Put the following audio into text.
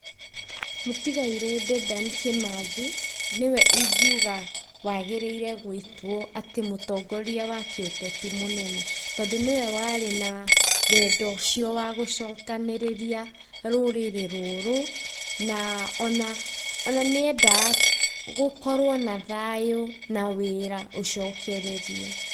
Mũtigaire Dedan Kĩmathi, nĩ we ingiuga atĩ wagĩrĩirwo gũĩtwo atĩ mũtongoria wa kĩũteti mũnene. Tondũ nĩwe warĩ na wendo ũcio wa gũcokanĩrĩria rũrĩrĩ rũrũ, na ona nĩ endaga gũkorwo na thayũ na wĩra ũcokererie.